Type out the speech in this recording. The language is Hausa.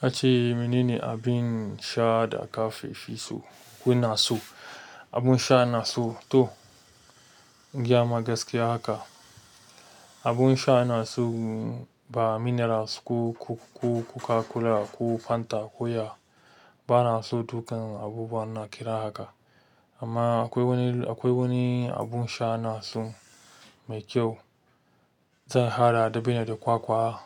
Ka ce menene abin sha da ka feshi so? Kuna so abun sha na so to, in gayama gaskiya haka. Abun sha na so minerals ko coca cola ko fanta, ko ya banason dukannin abubuwan da kaza haka amma akwai wani abun sha wanda ina so mai kyau, zan haɗa dabino da kwakwa,